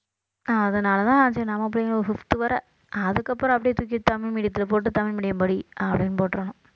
அதனாலதான் சரி நம்ம பையன் ஒரு fifth வரை அதுக்கப்புறம் அப்படியே தூக்கி தமிழ் medium த்துல போட்டு தமிழ் medium படி அப்படின்னு போட்டிரணும்